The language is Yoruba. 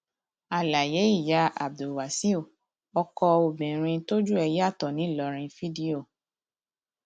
àlàyé ìyá abdulwasaiu ọkọ obìnrin tójú ẹ yàtọ ńìlọrin fídíò